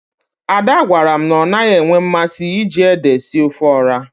Ada gwara m na ọ naghị enwe mmasị iji ede esi ofe ọha.